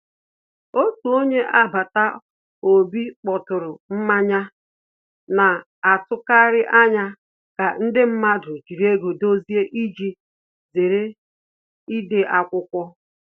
Otu onye agbata obi kpọturu mmanye, na-atụkarị anya ka ndị mmadụ jiri ego dozie iji zere ide akwụkwọ